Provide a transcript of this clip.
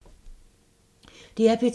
DR P2